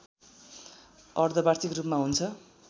अर्धवार्षिक रूपमा हुन्छ